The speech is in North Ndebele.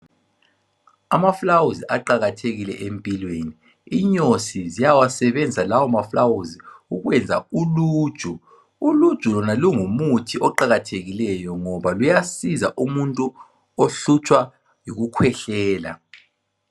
Amaluba aqakathekile empilweni, inyosi siyawasebenzisa lawo maluba ukuyenza uluju. Uluju lona lungumuthi oqakathekileyo ngoba luyasiza umuntu ohlutshwa yikukhwehlela.